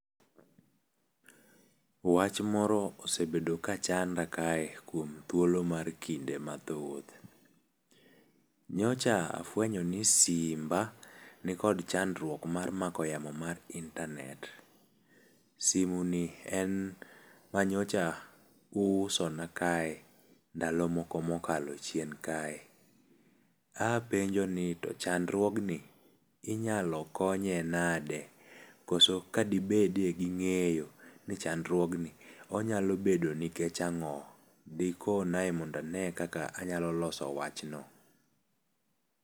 Wach moro osebedo kachanda kae kuom thuolo mar kinde mathoth. Nyocha afuenyo ni simba nikod chandruok mar mako yamo mar intanet. Simeni en ma nyocha uusona kae, ndalo moko mokalo chien kae. Apenjo ni to chandruogni, inyalo konye nade? Kose kadibede gi ng'eyo ni chandruogni onyalo bedo nikech ang'o? Dikonae mondo ane kaka anyalo loso wachno.